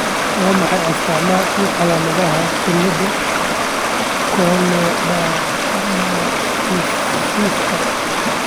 Waa maxay astamaha iyo calaamadaha cilada Corneodermatoossiska ?